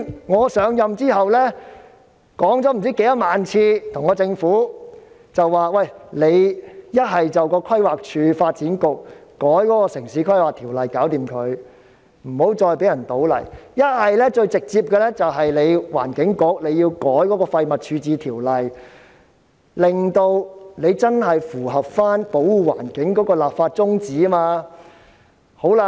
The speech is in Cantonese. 我上任後，已多番向政府建議由規劃署、發展局修改《城市規劃條例》，不要再讓人在該處倒泥，或直接由環境局修改《廢物處置條例》，令該條例真正符合保護環境的立法宗旨。